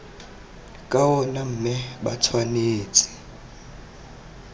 ka ona mme ba tshwanetse